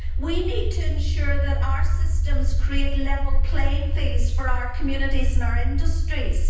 We need to ensure that our systems create level playing fields for our communities and our industries.